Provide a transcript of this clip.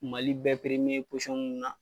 Mali bɛ posɔn mun na